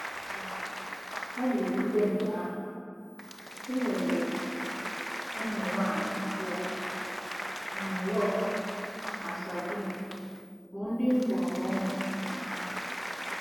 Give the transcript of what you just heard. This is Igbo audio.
Ka ọ na-erute mgbe ahụ enwere m ụmụ nwanyị abụọ, Hannelore na Sabine, bụ́ ndị m kpọrọ mụ na ha.